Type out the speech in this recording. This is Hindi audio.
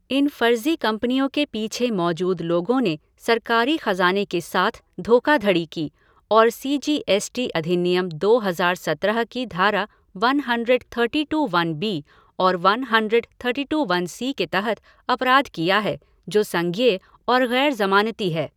इन फर्जी कंपनियों के पीछे मौजूद लोगों ने सरकारी खजाने के साथ धोखाधड़ी की और सीजीएसटी अधिनियम दो हजार सत्रह की धारा one hundred thirty two one B और one hundred thirty two one C के तहत अपराध किया है, जो संज्ञेय और गैर जमानती है।